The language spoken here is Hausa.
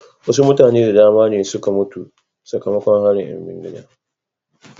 wasu mutane da dama ne suka mutu sakamakon harin ‘yan bindiga.